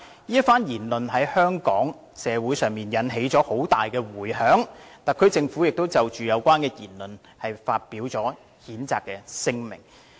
此番言論在香港社會引起了很大迴響，特區政府亦就有關言論發表了譴責聲明。